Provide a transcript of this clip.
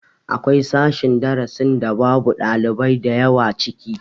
Akwai sashen darasin da babu ɗalibai da yawa ciki